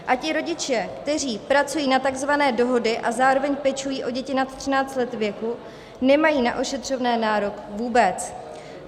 A ti rodiče, kteří pracují na takzvané dohody a zároveň pečují o děti nad 13 let věku, nemají na ošetřovné nárok vůbec.